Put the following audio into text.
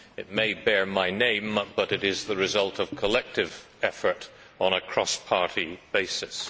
It may bear my name, but it is the result of collective effort on a cross party basis.